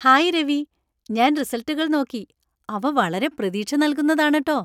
Hi Ravi, ഞാൻ റിസൾട്ടുകൾ നോക്കി, അവ വളരെ പ്രതീക്ഷ നൽകുന്നതാണ് ട്ടോ .